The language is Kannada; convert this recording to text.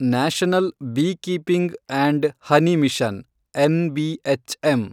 national beekeeping and honey mission, NBHM